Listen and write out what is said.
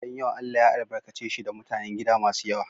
Gidan yawa Allah ya albarkace shi da mutanen gida masu yawa.